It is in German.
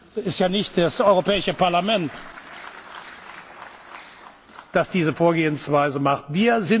Es ist ja nicht das Europäische Parlament, das diese Vorgehensweise verfolgt.